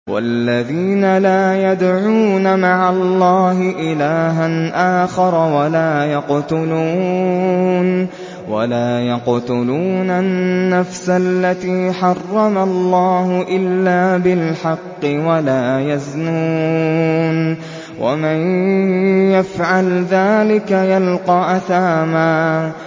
وَالَّذِينَ لَا يَدْعُونَ مَعَ اللَّهِ إِلَٰهًا آخَرَ وَلَا يَقْتُلُونَ النَّفْسَ الَّتِي حَرَّمَ اللَّهُ إِلَّا بِالْحَقِّ وَلَا يَزْنُونَ ۚ وَمَن يَفْعَلْ ذَٰلِكَ يَلْقَ أَثَامًا